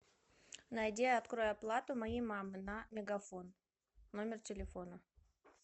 найди и открой оплату моей мамы на мегафон номер телефона